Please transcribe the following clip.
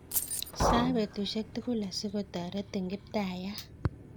sae betusiek tugul asikotaretin kiptaiyat